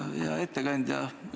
Hea ettekandja!